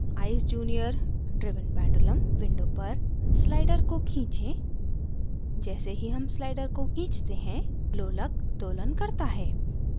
eyes junior: driven pendulum window पर slider को खींचें जैसे ही हम slider को खींचते हैं लोलक दोलन करता है